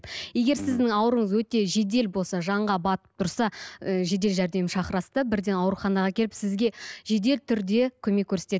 егер сіздің ауруыңыз өте жедел болса жанға батып тұрса ы жедел жәрдем шақырасыз да бірден ауруханаға әкеліп сізге жедел түрде көмек көрсетеді